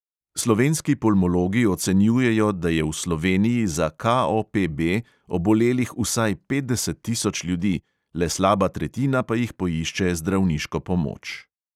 Slovenski pulmologi ocenjujejo, da je v sloveniji za KOPB obolelih vsaj petdeset tisoč ljudi, le slaba tretjina pa jih poišče zdravniško pomoč.